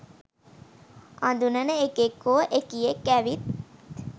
අඳුනන එකෙක් හෝ එකියෙක් ඇවිත්